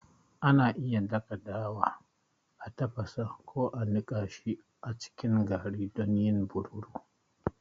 Ana iya dasa dawa, a tafasa, ko a niƙa shi a cikin gari don yin burodi.